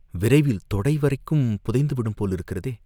விரைவில் தொடை வரைக்கும் புதைந்து விடும் போலிருக்கிறதே!